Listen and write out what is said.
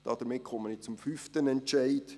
– Damit komme ich zum fünften Entscheid: